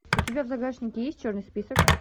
у тебя в загашнике есть черный список